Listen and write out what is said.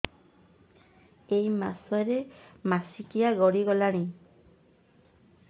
ଏଇ ମାସ ର ମାସିକିଆ ଗଡି ଗଲାଣି